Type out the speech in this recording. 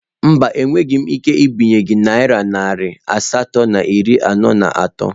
Mba, enweghị m ike ibinye gị narị naira asatọ na iri anọ na atọ